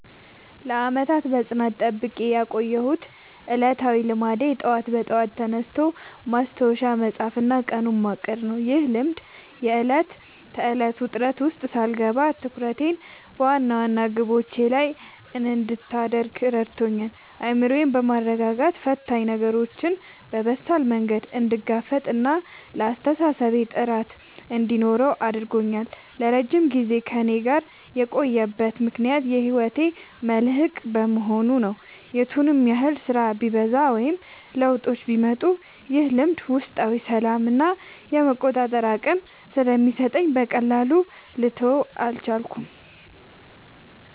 ለዓመታት በጽናት ጠብቄ ያቆየሁት ዕለታዊ ልማዴ ጠዋት በጠዋት ተነስቶ ማስታወሻ መጻፍና ቀኑን ማቀድ ነው። ይህ ልማድ የዕለት ተዕለት ውጥረት ውስጥ ሳልገባ ትኩረቴን በዋና ዋና ግቦቼ ላይ እንድታደርግ ረድቶኛል። አእምሮዬን በማረጋጋት ፈታኝ ነገሮችን በበሳል መንገድ እንድጋፈጥና ለአስተሳሰቤ ጥራት እንዲኖረው አድርጓል። ለረጅም ጊዜ ከእኔ ጋር የቆየበት ምክንያት የህይወቴ መልህቅ በመሆኑ ነው። የቱንም ያህል ስራ ቢበዛ ወይም ለውጦች ቢመጡ፣ ይህ ልማድ ውስጣዊ ሰላምና የመቆጣጠር አቅም ስለሚሰጠኝ በቀላሉ ልተወው አልቻልኩም።